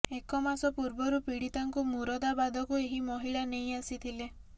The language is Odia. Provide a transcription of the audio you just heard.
ଏକ ମାସ ପୂର୍ବରୁ ପୀଡ଼ିତାଙ୍କୁ ମୁରଦାବାଦକୁ ଏହି ମହିଳା ନେଇ ଆସିଥିଲେ